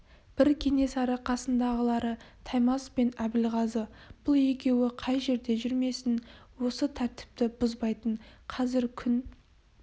бірі кенесары қасындағылары таймас пен әбілғазы бұл екеуі қай жерде жүрмесін осы тәртіпті бұзбайтын қазір күн